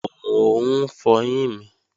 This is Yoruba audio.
Mò ń fọyín mi